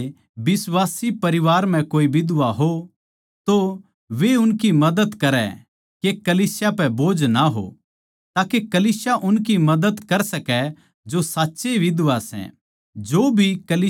जै किसे बिश्वासी परिवार म्ह कोए बिधवां हों तो वैए उनकी मदद करै के कलीसिया पै बोझ ना हो ताके कलीसिया उनकी मदद कर सकै जो साच्चए बिधवां सै